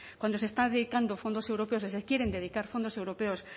cuando se están dedicando fondos europeos o se quieren dedicar fondos europeos